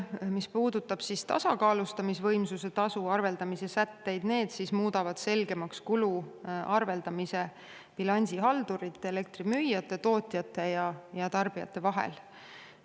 Mis puudutab tasakaalustamisvõimsuse tasu arveldamise sätteid, siis need muudavad selgemaks kulu arveldamise bilansihaldurite, elektrimüüjate, tootjate ja tarbijate vahel.